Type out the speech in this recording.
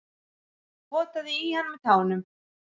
Potaði í hann með tánum.